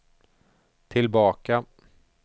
tillbaka